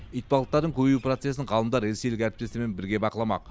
итбалықтардың көбею процесін ғалымдар ресейлік әріптестерімен бірге бақыламақ